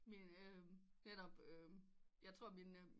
Min netop jeg tror min